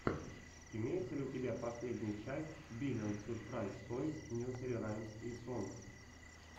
имеется ли у тебя последняя часть биллион сюрпрайз тойс несери раймс и сонгс